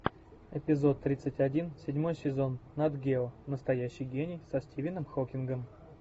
эпизод тридцать один седьмой сезон нат гео настоящий гений со стивеном хокингом